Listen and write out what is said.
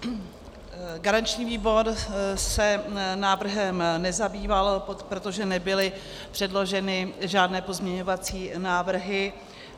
Garanční výbor se návrhem nezabýval, protože nebyly předloženy žádné pozměňovací návrhy.